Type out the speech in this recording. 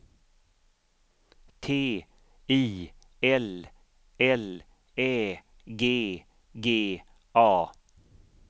T I L L Ä G G A